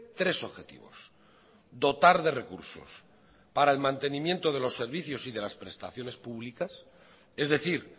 tres objetivos dotar de recursos para el mantenimiento de los servicios y de las prestaciones públicas es decir